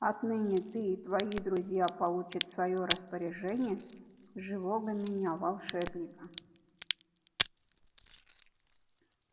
отныне ты и твои друзья получат в своё распоряжение живого меня волшебника